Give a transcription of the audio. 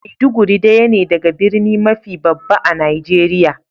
Maiduguri daya ne daga birni mafi babba a'Nijeriya.